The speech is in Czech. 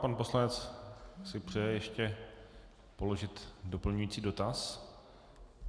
Pan poslanec si přeje ještě položit doplňující dotaz.